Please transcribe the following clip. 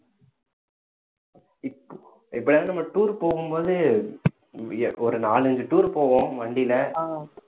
இப்~ எப்பயாவது நம்ம tour போகும்போது ஒரு நாலஞ்சு tour போவோம் வண்டியில